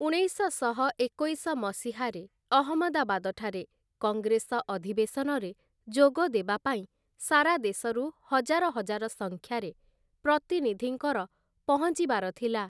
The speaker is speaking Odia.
ଉଣେଇଶଶହ ଏକୋଇଶ ମସିହାରେ ଅହମଦାବାଦଠାରେ କଙ୍ଗ୍ରେସ ଅଧିବେଶନରେ ଯୋଗ ଦେବାପାଇଁ ସାରା ଦେଶରୁ ହଜାର ହଜାର ସଂଖ୍ୟାରେ ପ୍ରତିନିଧିଙ୍କର ପହଞ୍ଚିବାର ଥିଲା ।